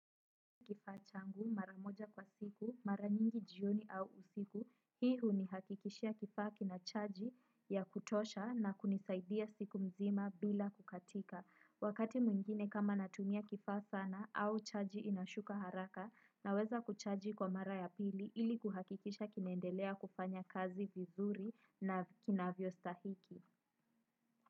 Kifaa changu mara moja kwa siku mara nyingi jioni au usiku hii hunihakikishia kifaa kinachaji ya kutosha na kunisaidia siku mzima bila kukatika wakati mwingine kama natumia kifaa sana au chaji inashuka haraka naweza kuchaji kwa mara ya pili ili kuhakikisha kinaendelea kufanya kazi vizuri na kinavyostahiki.